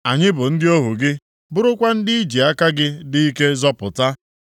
“Anyị bụ ndị ohu gị, bụrụkwa ndị i ji aka gị dị ike zọpụta.